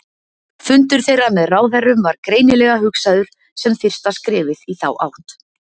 Fundur þeirra með ráðherrunum var greinilega hugsaður sem fyrsta skrefið í þá átt.